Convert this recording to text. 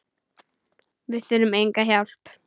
Við þurfum enga hjálp.